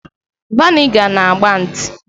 Vị́nịga na agba nti